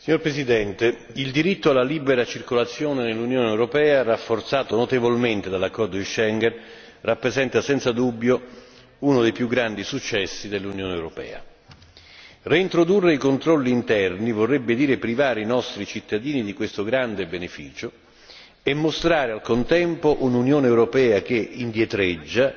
Signor Presidente, onorevoli colleghi, il diritto alla libera circolazione nell'Unione europea, rafforzato notevolmente dall'accordo di Schengen, rappresenta senza dubbio uno dei più grandi successi dell'Unione europea reintrodurre i controlli interni vorrebbe dire privare i nostri cittadini di questo grande beneficio e mostrare al contempo un'Unione europea che indietreggia,